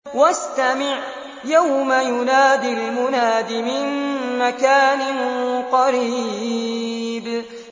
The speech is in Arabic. وَاسْتَمِعْ يَوْمَ يُنَادِ الْمُنَادِ مِن مَّكَانٍ قَرِيبٍ